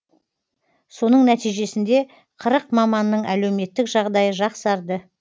соның нәтижесінде маманның әлеуметтік жағдайы жақсарды